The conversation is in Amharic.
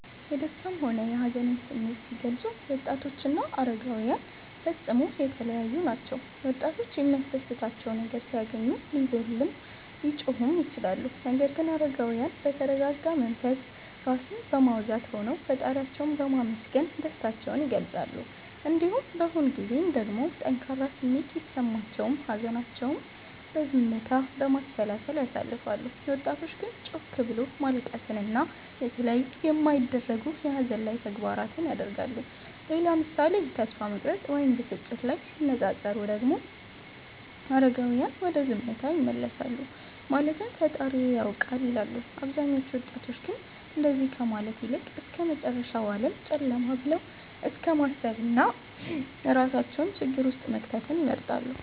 የደሰታም ሆነ የሀዘንን ስሜት ሲገልፁ ወጣቶችና አረጋዉያን ፈፅሞ የተለያዪ ናቸዉ ምሳሌ፦ ወጣቶች የሚያስደስታቸው ነገር ሲያገኙ ሊዘሉም ሊጮሁም ይችላሉ ነገር ግን አረጋዉያን በተረጋጋ መንፈስ (ራስን በማዉዛት) ሆነዉ ፈጣሪያቸዉን በማመስገን ደስታቸዉን ይገልፃሉ። እንዲሁም በሆን ጊዜም ደግሞ ጠንካራ ስሜት ቢሰማቸውም ሀዘናቸዉን በዝምታ፣ በማሰላሰል ያሳልፋሉ ወጣቶች ግን ጮክ ብሎት ማልቀስን እና የተለያዩ የማይደረጉ የሀዘን ላይ ተግባራት ያደርጋሉ። ሌላ ምሳሌ ተስፋ መቁረጥ ወይም ብስጭት ላይ ሲነፃፀሩ ደግሞ አረጋዉያን ወደ ዝምታ ይመለሳሉ ማለትም ፈጣሪዬ ያዉቃል ይላሉ አብዛኞቹ ወጣቶች ግን እንደዚ ከማለት ይልቅ እስከመጨረሻዉ ዓለም ጨለማ ብለዉ እስከማሰብና እራሳቸዉን ሌላ ችግር ዉስጥ መክተትን ይመርጣሉ